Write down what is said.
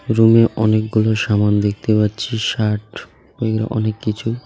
রুমে অনেকগুলো সামান দেখতে পাচ্ছি শার্ট এর অনেক কিছু.